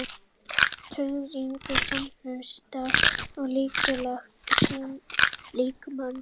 Taugakerfið og innkirtlakerfið samhæfa starfsemi allra líffærakerfa líkamans.